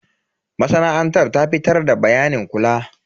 Masana'antar ta fitar da bayanin kula.